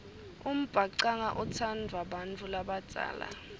umbhacanga utsandvwa bantfu labadzala